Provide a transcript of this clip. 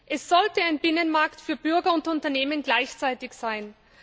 Es sollte ein Binnenmarkt für Bürger und Unternehmen gleichzeitig sein.